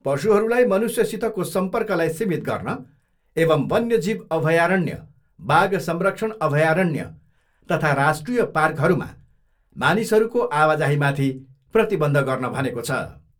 पशुहरूलाई मनुष्यसितको सम्पर्कलाई सीमित गर्न एवम् वन्य जीव अभयारण्य, बाघ संरक्षण अभयारण्य तथा राष्ट्रिय पार्कहरूमा मानिसहरूको आवाजाहीमाथि प्रतिबन्ध गर्न भनेको छ।